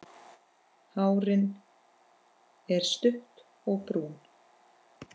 Hárin er stutt og brún.